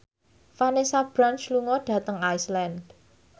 Vanessa Branch lunga dhateng Iceland